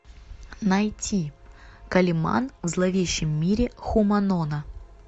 найти калиман в зловещем мире хуманона